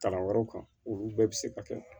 Kalan wɛrɛw kan olu bɛɛ bɛ se ka kɛ